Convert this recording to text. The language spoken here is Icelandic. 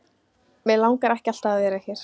Mig langar ekki að vera alltaf hér.